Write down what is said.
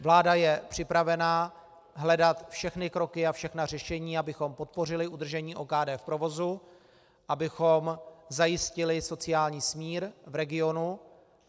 Vláda je připravena hledat všechny kroky a všechna řešení, abychom podpořili udržení OKD v provozu, abychom zajistili sociální smír v regionu.